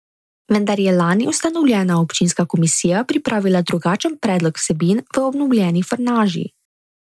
Vendar je lani ustanovljena občinska komisija pripravila drugačen predlog vsebin v obnovljeni frnaži.